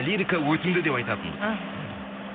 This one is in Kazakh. лирика өтімді деп айтатынбыз іхі